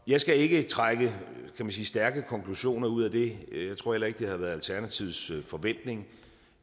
jeg skal ikke trække stærke konklusioner ud af det og jeg tror heller ikke det har været alternativets forventning